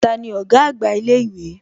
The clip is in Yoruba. Tani ọ̀gá àgbà ilé ìwé?